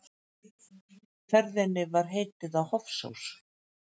Ferðinni var heitið á Hofsós.